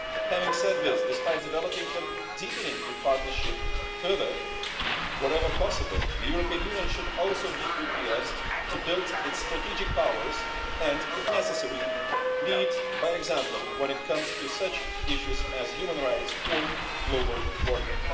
Having said this, despite developing and deepening the partnership further wherever possible, the European Union should also be prepared to build its strategic powers and, if necessary, lead by example when it comes to such issues as human rights or global warming.